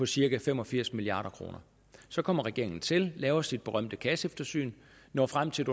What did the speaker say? cirka fem og firs milliard kroner så kommer regeringen til laver sit berømte kasseeftersyn når frem til at